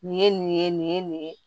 Nin ye nin ye nin ye nin ye